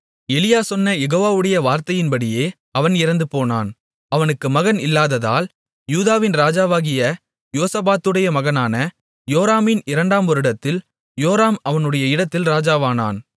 எலியா சொன்ன யெகோவாவுடைய வார்த்தையின்படியே அவன் இறந்துபோனான் அவனுக்கு மகன் இல்லாததால் யூதாவின் ராஜாவாகிய யோசபாத்துடைய மகனான யோராமின் இரண்டாம் வருடத்தில் யோராம் அவனுடைய இடத்தில் ராஜாவானான்